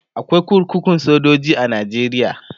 akwai kurkukun sojoji a nigeria